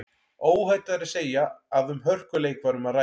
Óhætt er að segja að um hörkuleik var um að ræða.